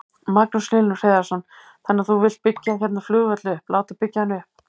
Magnús Hlynur Hreiðarsson: Þannig að þú vilt byggja hérna flugvöll upp, láta byggja hann upp?